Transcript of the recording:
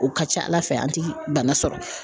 O ka ca ala fɛ an ti bana sɔrɔ.